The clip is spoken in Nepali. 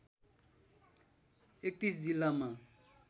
३१ जिल्लामा